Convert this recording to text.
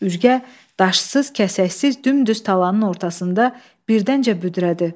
Üzgə daşsız, kəsəksiz dümdüz talanın ortasında birdəncə büdrədi.